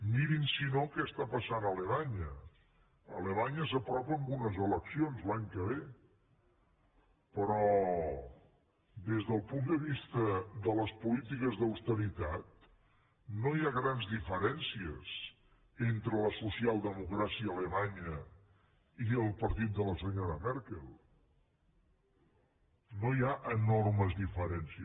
mirin si no què està passant a alemanya alemanya s’apropa a unes eleccions l’any que ve però des del punt de vista de les polítiques d’austeritat no hi ha grans diferències entre la socialdemocràcia alemanya i el partit de la senyora merkel no hi ha enormes diferències